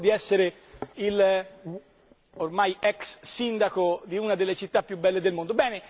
E io mi onoro di essere l'ormai ex sindaco di una delle città più belle del mondo.